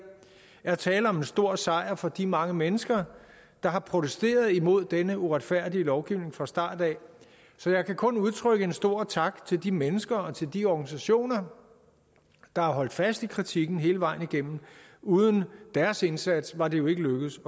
er tale om en stor sejr for de mange mennesker der har protesteret imod denne uretfærdige lovgivning fra starten så jeg kan kun udtrykke en stor tak til de mennesker og til de organisationer der har holdt fast i kritikken hele vejen igennem uden deres indsats var det jo ikke lykkedes